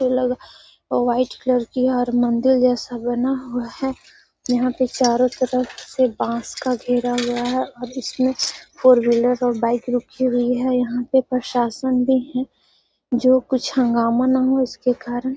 ये लगा और व्हाइट कलर की है और मंदिर जैसा बना हुआ है। यहाँ से चारो तरफ से बास का घेरा हुआ है और इसमें फोर व्हीलर और बाइक रुकी हुई है। यहाँ पे प्रशासन भी है जो कुछ हंगामा न हो इसके कारण।